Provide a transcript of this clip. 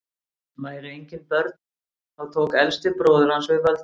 væru engin börn þá tók elsti bróðir hans við völdum